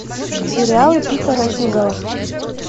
сериалы питера сигала